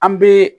An bɛ